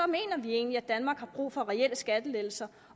mener vi egentlig at danmark har brug for reelle skattelettelser